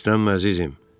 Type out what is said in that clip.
Hirslənmə, əzizim.